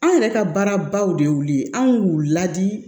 An yɛrɛ ka baara baw de y'u ye anw y'u ladi